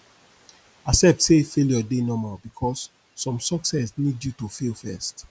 accept say failure dey normal bikos som success nid yu to fail first